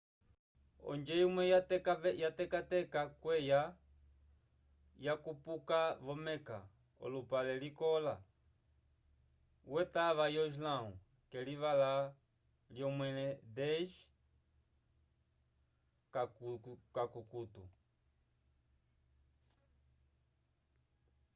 onjo imwe yatekateka kweya yakupuka vo-meka olupale likola wetava yo islão k'elivala lyomẽle 10 k'akukutu